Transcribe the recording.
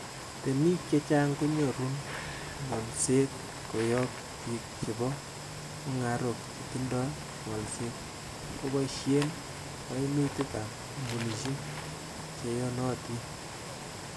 Temik chechang konyoru ng'olset koyob bik chebo mung'arok chetindo ngolset, koboishen kainutik ab kompunisiek che yonotin.